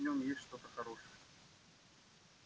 значит в нем есть что-то хорошее